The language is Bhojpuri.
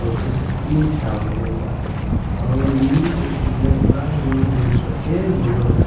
अ ऊपर से टीन छावल गईल बा और इ बछड़िया बा जौन भैंसवा के बउवा बा।